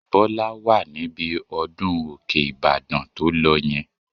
Bọ́lá wà níbi ọdún Òkè-Ìbàdàn tó lọ yẹn